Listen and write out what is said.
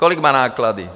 Kolik mají náklady?